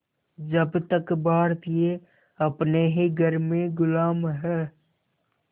जब तक भारतीय अपने ही घर में ग़ुलाम हैं